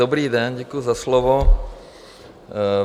Dobrý den, děkuji za slovo.